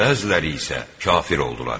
Bəziləri isə kafir oldular.